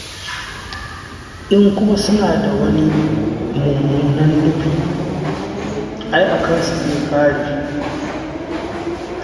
In kuma suna da wani mummunan nufi, ai a kansu zai ƙare.